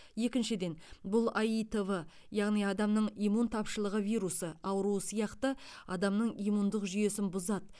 екіншіден бұл аитв яғни адамның иммунтапшылығы вирусы ауруы сияқты адамның иммундық жүйесін бұзады